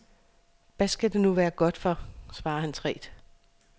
Hvad skal det nu være godt for, svarer han tvært.